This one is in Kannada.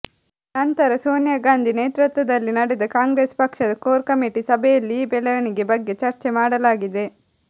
ನಂತರ ಸೋನಿಯಾ ಗಾಂಧಿ ನೇತೃತ್ವದಲ್ಲಿ ನಡೆದ ಕಾಂಗ್ರೆಸ್ ಪಕ್ಷದ ಕೋರ್ ಕಮಿಟಿ ಸಭೆಯಲ್ಲಿ ಈ ಬೆಳವಣಿಗೆ ಬಗ್ಗೆ ಚರ್ಚೆ ಮಾಡಲಾಗಿದೆ